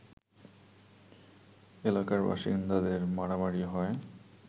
এলাকার বাসিন্দাদের মারামারি হয়